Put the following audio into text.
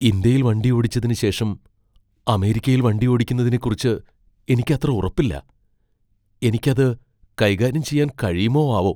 ഇന്ത്യയിൽ വണ്ടിയോടിച്ചതിന് ശേഷം അമേരിക്കയിൽ വണ്ടിയോടിക്കുന്നതിനെക്കുറിച്ച് എനിക്ക് അത്ര ഉറപ്പില്ല. എനിക്ക് അത് കൈകാര്യം ചെയ്യാൻ കഴിയുമോ ആവോ.